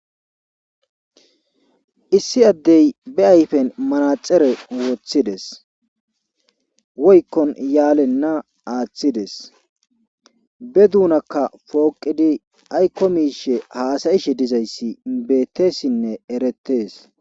Issi adde be ayfen manaxire wothidees. woykkon yaalina athidees be dunakka pooqidi aykko miishsha haasayishe dizayssi beeteesnne eretees.